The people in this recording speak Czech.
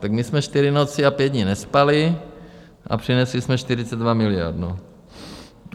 Tak my jsme čtyři noci a pět dní nespali a přinesli jsme 42 miliard.